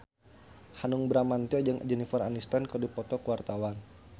Hanung Bramantyo jeung Jennifer Aniston keur dipoto ku wartawan